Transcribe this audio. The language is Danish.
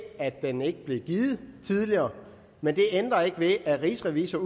at den ikke blev givet tidligere men det ændrer ikke ved at rigsrevisor